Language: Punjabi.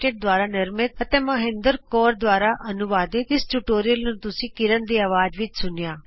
ਐੱਲਟੀਡੀ ਦੁਆਰਾ ਨਿਰਮਤ ਅਤੇ ਮੌਹਿੰਦਰ ਕੌਰ ਦੁਆਰਾ ਅਨੁਵਾਦਿਤ ਇਸ ਟਯੂਟੋਰਿਅਲ ਨੂੰ ਤੁਸੀ ਕਿਰਣ ਦੀ ਅਵਾਜ਼ ਵਿੱਚ ਸੁਣਿਆ